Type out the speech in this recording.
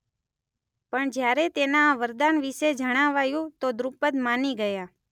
પણ જ્યારે તેના આ વરદાન વિશે જણાવાયું ત્યારે દ્રુપદ માની ગયાં.